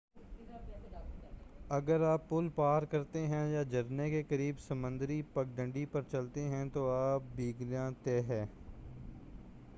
اگر آپ پل پار کرتے ہیں یا جھرنے کے قریب سمندری پگڈنڈی پر چلتے ہیں تو آپ بھیگنا طے ہے